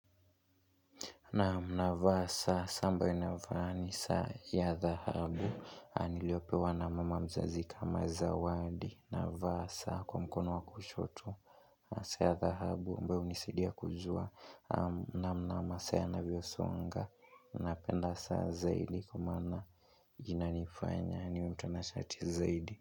Naam navaa saa, saa ambayo ninavaa ni, saa ya dhahabu niliyopewa na mama mzazi kama zawadi na vaa saa kwa mkono wa kushoto saa ya dhahabu, ambayo hunisaidia kujua namna masaa yanavyo songa Napenda saa zaidi kwamaana ina nifanya niwe mtana shati zaidi.